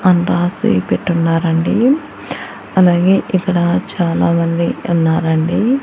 అన్ రాసి పెట్టున్నారండి అలాగే ఇక్కడ చాలామంది ఉన్నారండి.